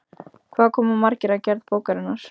Hvað koma margir að gerð bókarinnar?